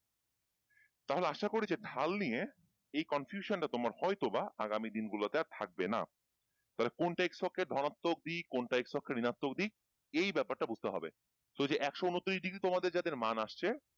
তাহলে আশাকরি যে ঢাল নিয়ে এই confusion টা তোমার হয়তোবা আগামী দিনগুলোতে আর থাকবে না তাহলে কোনটা x অক্ষের ধনাত্মক দিক কোনটা x অক্ষের ঋনাত্মক দিক এই ব্যাপারটা বুঝতে হবে so যে একশ উনত্রিশ degree তোমাদের যাদের মান আসছে,